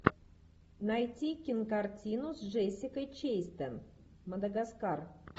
найти кинокартину с джессикой честейн мадагаскар